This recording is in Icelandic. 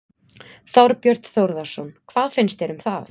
Þorbjörn Þórðarson: Hvað finnst þér um það?